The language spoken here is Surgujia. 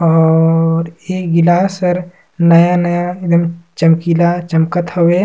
और ए गिलास हर नया-नया एकदम चमकीला चमकत हवे।